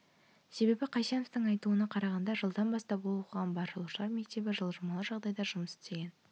себебі қайсеновтың айтуына қарағанда жылдан бастап ол оқыған барлаушылар мектебі жылжымалы жағдайда жұмыс істеген